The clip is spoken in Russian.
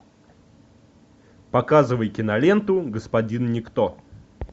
показывай киноленту господин никто